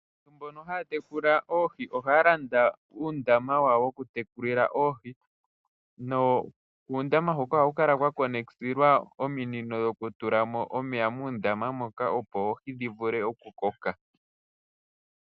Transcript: Aantu mbono haya tekula oohi ohaya landa uundama wawo woku tekulila oohi. Kuundama huka ohakukala kwatulwa ominino dhokutula omeya muundama moka opo oohi dhivule oku koka.